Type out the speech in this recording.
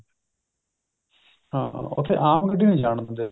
ਹਾਂ ਉੱਥੇ ਆਮ ਗੱਡੀ ਨੀ ਜਾਣ ਦਿੰਦੇ